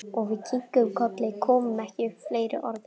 Og við kinkuðum kolli, komum ekki upp fleiri orðum.